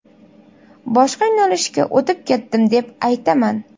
Boshqa yo‘nalishga o‘tib ketdim deb aytaman.